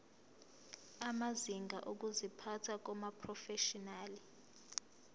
amazinga okuziphatha kumaprofeshinali